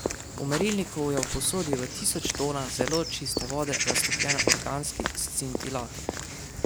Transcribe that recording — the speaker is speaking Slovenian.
V merilniku je v posodi v tisoč tonah zelo čiste vode raztopljen organski scintilator.